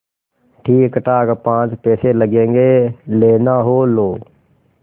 ठीकठाक पाँच पैसे लगेंगे लेना हो लो